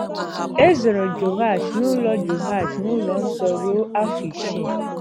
E zoro Jehoash n’ụlọ Jehoash n’ụlọ nsọ ruo afọ isii.